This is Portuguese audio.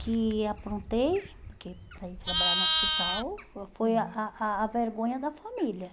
que aprontei porque para ir trabalhar no hospital, foi a a a vergonha da família.